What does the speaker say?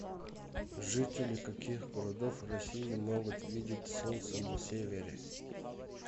жители каких городов россии могут видеть солнце на севере